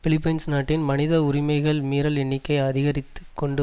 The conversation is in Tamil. பிலிப்பைன்ஸ் நாட்டில் மனித உரிமைகள் மீறல் எண்ணிக்கை அதிகரித்து கொண்டு